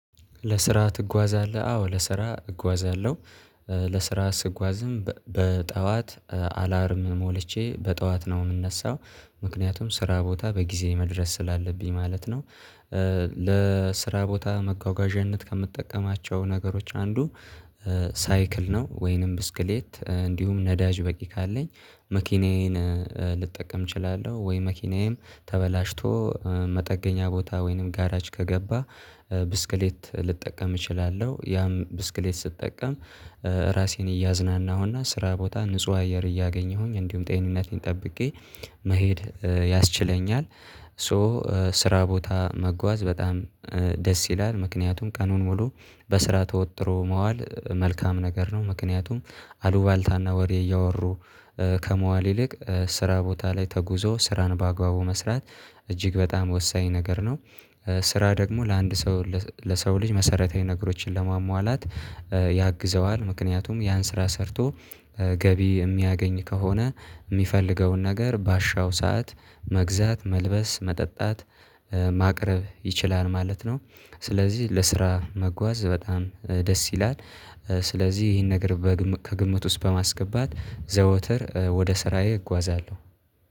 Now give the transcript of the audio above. ለስራ ትጓዛለህ አዎ ለስራ እጓዛለው ለስራ ስጓዝም በጠዋት አላርም ሞልቼ በጠዋት ነው ምነሳው ምክንያቱም ስራ ቦታ በጊዜ መድረስ ስላለብኝ ማለት ነው። ለስራ ቦታ መጓጓዣነት ከምጠቀማቸው ነገሮች አንዱ ሳይክል ነው። ወይንም ብስክሌት እንዲሁም ነዳጅ በቂ ካለኝ መኪናዬን ልጠቀም እችላለሁ ወይ መኪናዬም ተበላሽቶ መጠገኛ ቦታ ወይንም ጋራጅ ከገባ ብስክሌት ልጠቀም እችላለሁ። ያም ብስክሌት ስጠቀም ራሴን እያዝናናሁና ስራ ቦታ ንጹህ አየር እያገኘሁኝ እንዲሁም ጤንነቴን ጠብቄ መሄድ ያስችለኛል። ሶ ስራ ቦታ መጓዝ በጣም ደስ ይላል። ምክንያቱም ቀኑን ሙሉ በስራ ተወጥሮ መዋል መልካም ነገር ነው። ምክንያቱም አሉባልታና ወሬ እያወሩ ከመዋል ይልቅ ስራ ቦታ ላይ ተጉዞ ስራን በአግባቡ መስራት እጅግ በጣም ወሳኝ ነገር ነው። ስራ ደግሞ ለአንድ ሰው ለሰው ልጅ መሰረታዊ ነገሮችን ለማሟላት ያግዘዋል። ምክንያቱም ያን ስራ ሰርቶ ገቢ የሚያገኝ ከሆነ ሚፈልገውን ነገር በአሻው ሰዓት መግዛት መልበስ መጠጣት ማቅረብ ይችላል ማለት ነው። ስለዚህ ለስራ መጓዝ በጣም ደስ ይላል። ስለዚህ እሂን ነገር በግምት ከ ግምት ውስጥ በማስገባት ዘወተር ወደ ስራዬ እጓዛለሁ